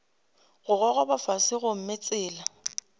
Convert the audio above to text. go gogoba fase gomme tsela